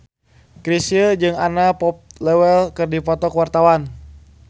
Chrisye jeung Anna Popplewell keur dipoto ku wartawan